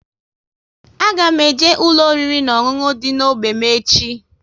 A ga m eje ụlọ oriri na ọṅụṅụ dị n'ógbè m echi